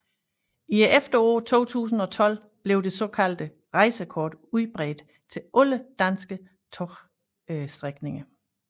I efteråret 2012 blev det såkaldte rejsekort udbredt til alle danske togstrækninger